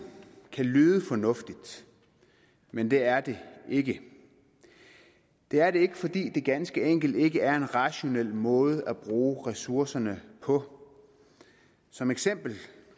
kan lyde fornuftigt men det er det ikke det er det ikke fordi det ganske enkelt ikke er en rationel måde at bruge ressourcerne på som eksempel